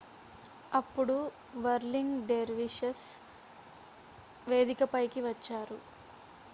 అప్పుడు whirling dervishes వేదిక పైకి వచ్చారు